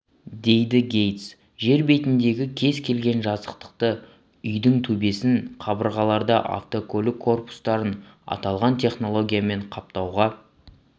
дейді гейтс жер бетіндегі кез келген жазықтықты үйдің төбесін қабырғаларды автокөлік корпустарын аталған технологиямен қаптауға